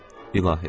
İlahi!